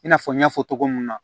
I n'a fɔ n y'a fɔ togo mun na